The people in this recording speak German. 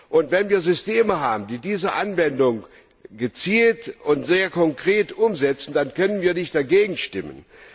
Und wenn wir Systeme haben, die diese Anwendung gezielt und sehr konkret umsetzen, dann können wir nicht dagegen stimmen.